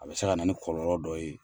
A bɛ se ka na ni kɔlɔlɔ dɔ ye.